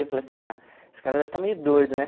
Eu falei assim, ah, esse cara deve estar meio doido, né?